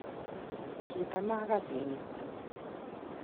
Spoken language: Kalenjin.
kitamagasin it